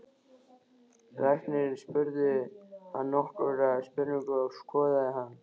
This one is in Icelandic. Læknirinn spurði hann nokkurra spurninga og skoðaði hann.